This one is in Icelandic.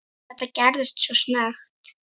Þetta gerðist svo snöggt.